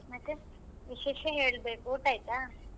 ಮತ್ತೆ ವಿಶೇಷ ಹೇಳ್ಬೇಕು ಊಟ ಆಯ್ತಾ?